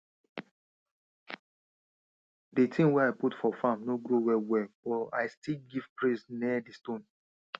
d tin wey i put for farm no grow well well but i still give praise near di stone